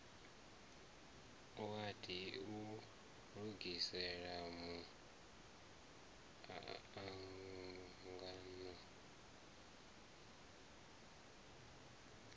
wadi u lugisela mu angano